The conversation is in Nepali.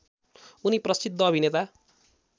उनी प्रसिद्ध अभिनेता